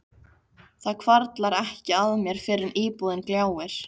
Það hvarflar ekki að mér fyrr en íbúðin gljáir.